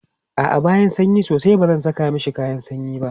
a'a ba sanyi sosai bazan Saka mashi kayan sanyi ba